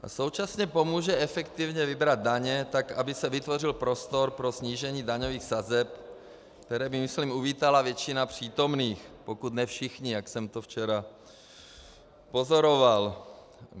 ... a současně pomůže efektivně vybrat daně tak, aby se vytvořil prostor pro snížení daňových sazeb, které by, myslím, uvítala většina přítomných, pokud ne všichni, jak jsem to včera pozoroval.